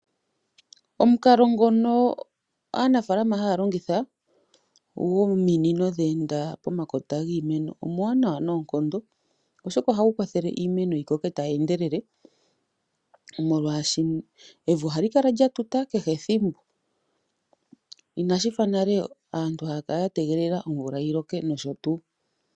Omukalo ngono aanafaalama haya longitha gominino dhe enda pomakota giimeno omuwanawa noonkondo, oshoka ohagu kwathele iimeno yi koke tayi endelele, molwashoka evi ohali kala lya tuta kehe ethimbo, inashi fa nale aantu haya kala ya tegelela omvula yi loke nosho tuu.